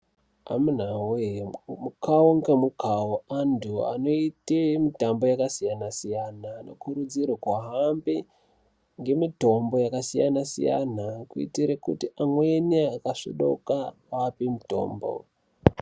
Amunawee mukao ngemukao anthu anoite mitambo yakasiyana siyana anokurudzirwe kuhambe ngemitombo yakasiyana siyana kuitire kuti amweni akasvodoka awane mitombo.